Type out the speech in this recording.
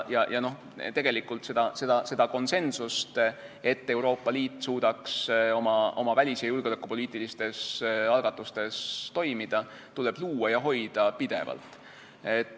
Tegelikult konsensust, et Euroopa Liit suudaks oma välis- ja julgeolekupoliitiliste algatuste puhul toimida, tuleb luua ja hoida pidevalt.